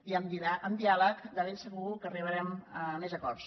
i amb diàleg de ben seguir que arribarem a més acords